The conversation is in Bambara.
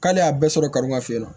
K'ale y'a bɛɛ sɔrɔ karimafin na